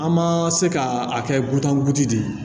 An ma se ka a kɛ butan gosi de ye